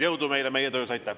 Jõudu meile meie töös!